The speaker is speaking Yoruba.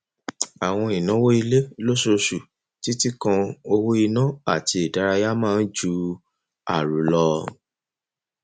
àwọn ìnáwó ilé lóṣooṣù títí kan owó iná àti ìdárayá máa ń ju àrò lọ